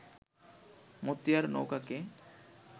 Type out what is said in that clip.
Motiar নৌকাকে